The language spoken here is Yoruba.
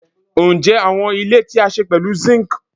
Njẹ awọn ile ti a ṣe pẹlu zinc